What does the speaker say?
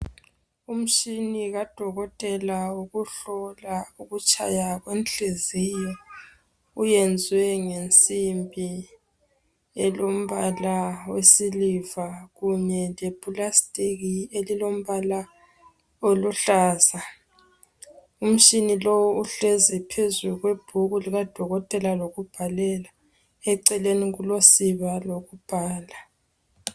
Umshini kadokotela wokuhlola ukutshaya kwenhliziyo. Uyenzwe ngensimbi elombala wesiliva kunye lepulasitiki elilombala oluhlaza. Umshini lo uhlezi phezu kwebhuku likadokotela lokubhalela. Eceleni kulosiba lokubhala.